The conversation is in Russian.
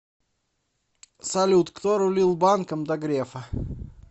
салют кто рулил банком до грефа